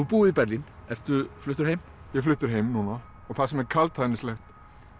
búið í Berlín ertu fluttur heim ég er fluttur heim núna það sem er kaldhæðnislegt